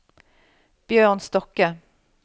Bjørn Stokke